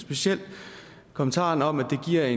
specielt i kommentaren om at det giver